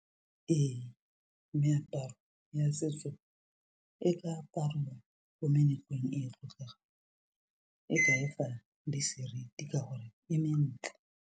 Ee meaparo ya setso e ka aparwa ko meletlong e e tlotlegang e ka efa le seriti ka gore e mentle.